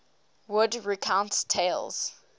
wood recounts tales